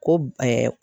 Ko